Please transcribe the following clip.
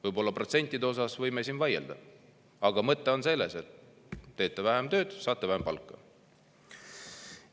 Võib-olla protsentide üle võime siin vaielda, aga mõte on selles, et teete vähem tööd, saate vähem palka.